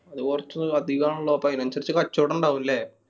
അത് കൊർച് അധികാണല്ലോ അപ്പൊ അയിനൻസറിച്ച് കച്ചോടം ഇണ്ടാവും ല്ലേ.